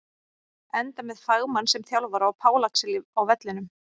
Enda með fagmann sem þjálfara og Pál Axel á vellinum!